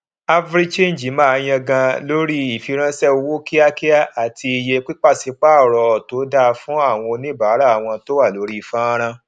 africhange máa yangàn lórí ìfiránṣẹ owó kíákíá àti iye pàṣípàrọ tó da fún àwọn oníbàárà wọn tó wà lórí fọnrán